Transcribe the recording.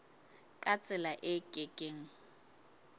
ka tsela e ke keng